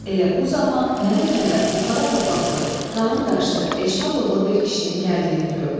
Elə bu zaman mənə tərəf buxara papaqlı, qalın qaşdı, eşmə bığlı bir kişinin gəldiyini gördüm.